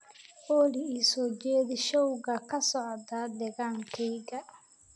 olly ii soo jeedi showga ka socda deegaankayga